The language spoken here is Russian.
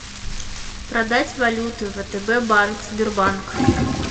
продать валюту втб банк сбербанк